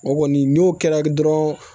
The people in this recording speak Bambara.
O kɔni n'o kɛra dɔrɔn